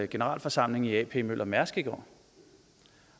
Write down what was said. generalforsamling i a p møller mærsk i går